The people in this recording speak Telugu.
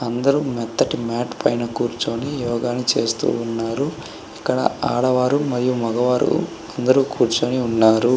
అందరూ మెత్తటి మ్యాటి పైన కూర్చొని యోగా చేస్తున్నారు ఎక్కడ ఆడవారు మరియు మగవారు అందరూ కూర్చొని ఉన్నారు.